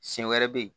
Siɲɛ wɛrɛ bɛ ye